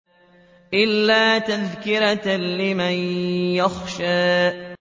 إِلَّا تَذْكِرَةً لِّمَن يَخْشَىٰ